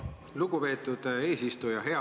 Lugupeetud eesistuja!